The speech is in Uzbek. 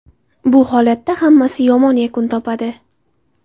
Bu holatda hammasi yomon yakun topadi.